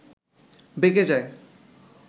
বেঁকে যায়